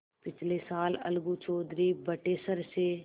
पिछले साल अलगू चौधरी बटेसर से